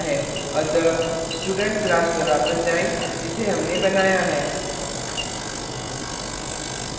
अतः student class पर वापस जाएँ जिसे हमनें बनाया है